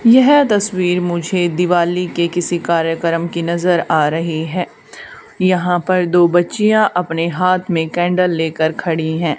यह तस्वीर मुझे दिवाली के किसी कार्यक्रम की नजर आ रही है यहां पर दो बच्चियों अपने हाथ में कैंडल लेकर खड़ी हैं।